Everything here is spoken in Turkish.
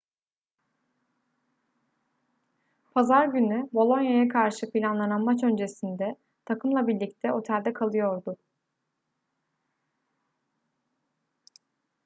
pazar günü bolonia'ya karşı planlanan maç öncesinde takımla birlikte otelde kalıyordu